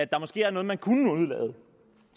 der måske var noget man kunne udelade